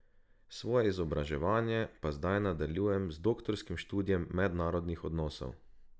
Svoje izobraževanje pa zdaj nadaljujem z doktorskim študijem mednarodnih odnosov.